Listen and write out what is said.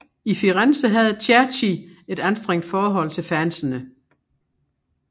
I Firenze havde Cerci et anstrengt forhold til fansene